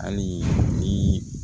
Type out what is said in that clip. Hali ni